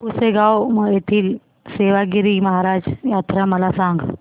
पुसेगांव येथील सेवागीरी महाराज यात्रा मला सांग